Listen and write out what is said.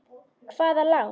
Hvaða lán?